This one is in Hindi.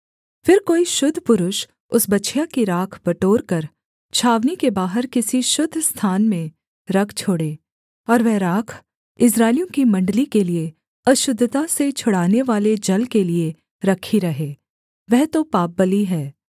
फिर कोई शुद्ध पुरुष उस बछिया की राख बटोरकर छावनी के बाहर किसी शुद्ध स्थान में रख छोड़े और वह राख इस्राएलियों की मण्डली के लिये अशुद्धता से छुड़ानेवाले जल के लिये रखी रहे वह तो पापबलि है